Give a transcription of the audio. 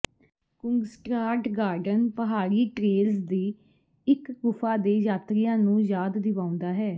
Kungsträdgården ਪਹਾੜੀ trails ਦੀ ਇਕ ਗੁਫਾ ਦੇ ਯਾਤਰੀਆਂ ਨੂੰ ਯਾਦ ਦਿਵਾਉਂਦਾ ਹੈ